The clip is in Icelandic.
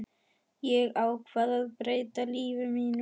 Ég ákvað að breyta lífi mínu.